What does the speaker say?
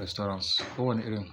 Restaurant ko wani irin.